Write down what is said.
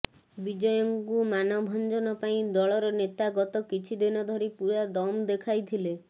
ବିଜୟଙ୍କୁ ମାନଭଞ୍ଜନ ପାଇଁ ଦଳର ନେତା ଗତ କିଛି ଦିନ ଧରି ପୁରା ଦମ ଦେଖାଇଥିଲେ